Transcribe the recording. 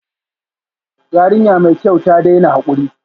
Yarinya mai kyau, ta daina hakuri